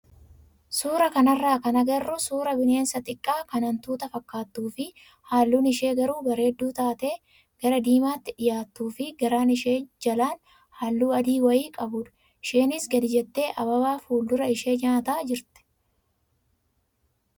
Suuraa kanarraa kan agarru suuraa bineensa xiqqaa kan hantuuta fakkaattuu fi halluun ishee garuu bareedduu taate gara diimaatti dhiyaattuu fi garaan isheen jalaan halluu adii wayii qabudha. Isheenis gadi jettee ababaa fuuldura ishee nyaataa jirti.